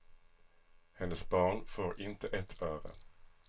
Hennes barn får inte ett öre.